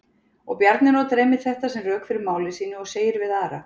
Og Bjarni notar einmitt þetta sem rök fyrir máli sínu og segir við Ara: